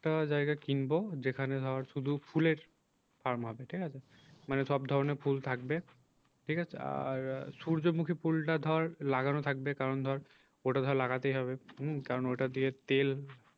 জায়গা কিনবো যেখানে ধর শুধু ফুলের farm হবে ঠিক আছে। মানে সব ধরণের ফুল থাকবে ঠিক আছে আর সূর্যমুখী ফুলটা ধর লাগানো থাকবে কারণ ধর ওটা ধর লাগাতেই হবে হম কারণ ওটা দিয়ে তেল